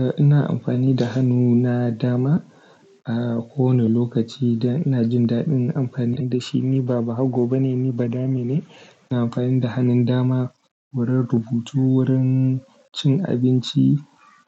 Eh ina amfani da hannu na dama a kowane lokaci dan ina jin daɗin amfani da shi. Ni ba bahago ba ne, ni badamene. Ina amfani da hannun dama wurin rubutu, wurin cin abinci,